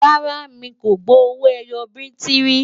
rárá, mí kò gbó owó ẹyọ biti rí